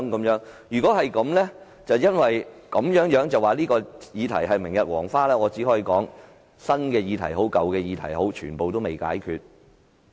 如果因此便說這議題是明日黃花，我只可以說無論是新議題或舊議題，全部也未解決。